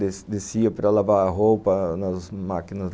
Descia descia para lavar a roupa nas máquinas